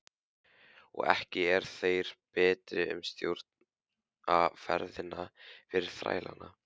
Og ekki eru þeir betri sem stjórna ferðinni fyrir þrælana.